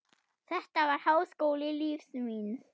Þetta var háskóli lífs míns.